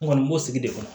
N kɔni b'o sigi de kɔnɔ